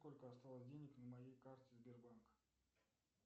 сколько осталось денег на моей карте сбербанка